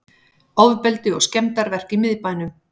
Ofbeldi og skemmdarverk í miðbænum